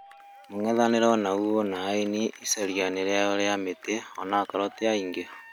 mũng'ethanĩro onagũo wĩna aĩni ĩcarĩaĩnĩ rĩao rĩa mĩtĩ, onakorwo tĩ angĩ